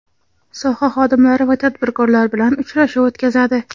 soha xodimlari va tadbirkorlar bilan uchrashuv o‘tkazadi.